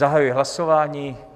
Zahajuji hlasování.